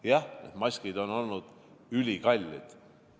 Jah, maskid on olnud ülikallid.